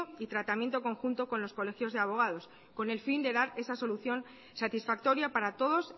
y tratamiento conjunto con los colegios de abogados con el fin de dar esa solución satisfactoria para todos